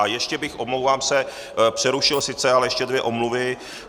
A ještě bych, omlouvám se, přerušil sice, ale ještě dvě omluvy.